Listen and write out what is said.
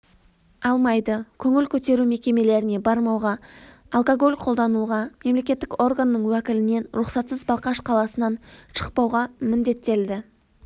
алмайды көңіл көтеру мекемелеріне бармауға алкоголь қолдануға мемлекеттік органның уәкілінен рұқсатсыз балқаш қаласынан шықпауға міндеттелді